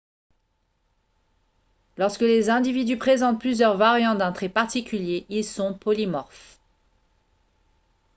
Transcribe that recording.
lorsque les individus présentent plusieurs variantes d'un trait particulier ils sont polymorphes